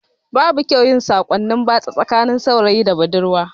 Babu kyau yin sakonni batsa tsakanin saurayi da budurwa